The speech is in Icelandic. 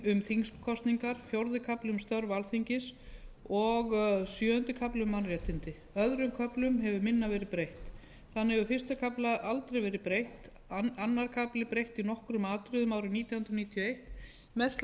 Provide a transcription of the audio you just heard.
um þingkosningar fjórði kafli um störf alþingis og sjöundi kafli um mannréttindi öðrum köflum hefur minna verið breytt þannig hefur fyrsta kafla aldrei verið breytt öðrum kafla breytt í nokkrum atriðum árið nítján hundruð níutíu og eitt mest til að